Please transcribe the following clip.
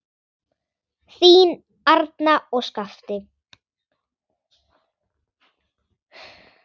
Þín, Arna og Skafti.